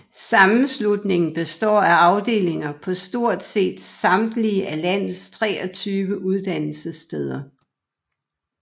Sammenslutningen består af afdelinger på stort set samtlige af landets 23 uddannelsessteder